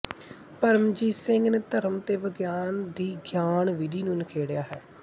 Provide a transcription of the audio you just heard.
ਪਰਮਜੀਤ ਸਿੰਘ ਨੇ ਧਰਮ ਤੇ ਵਿਗਿਆਨ ਦੀ ਗਿਆਨ ਵਿਧੀ ਨੂੰ ਨਿਖੇੜਿਆ ਹੈ